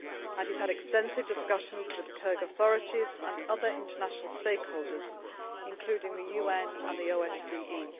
He has had extensive discussions with the Kyrgyzstan authorities and other international stakeholders, including the UN and the OSCE.